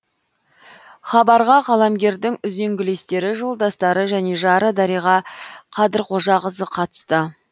хабарға қаламгердің үзеңгілестері жолдастары және жары дариға қадырқожақызы қатысты